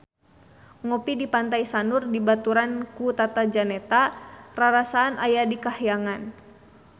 Ngopi di Pantai Sanur dibaturan ku Tata Janeta rarasaan aya di kahyangan